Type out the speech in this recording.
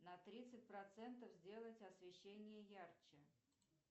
на тридцать процентов сделать освещение ярче